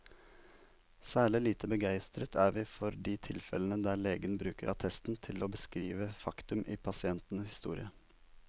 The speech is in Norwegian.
Særlig lite begeistret er vi for de tilfellene der legen bruker attesten til å beskrive faktum i pasientens historie.